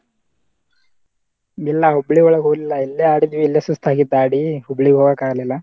ಇಲ್ಲಾ ಹುಬ್ಳಿಯೊಳಗ ಹೋಗ್ಲಿಲ್ಲಾ ಇಲ್ಲೇ ಆಡಿದ್ವಿ ಇಲ್ಲೇ ಸುಸ್ತ ಆಗಿತ್ತ ಆಡಿ ಹುಬ್ಳಿಗ ಹೋಗಾಕ ಆಗ್ಲಿಲ್ಲಾ.